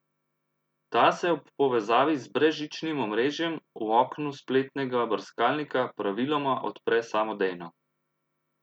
Ta se ob povezavi z brezžičnim omrežjem v oknu spletnega brskalnika praviloma odpre samodejno.